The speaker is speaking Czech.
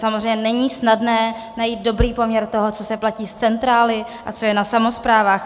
Samozřejmě není snadné najít dobrý poměr toho, co se platí z centrály a co je na samosprávách.